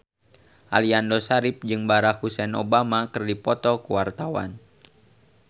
Aliando Syarif jeung Barack Hussein Obama keur dipoto ku wartawan